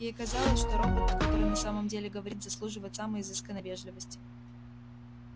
ей казалось что робот который на самом деле говорит заслуживает самой изысканной вежливости